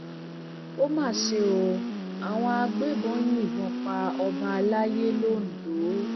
ó mà ṣe o àwọn agbébọn yìnbọn pa ọba àlàyé londo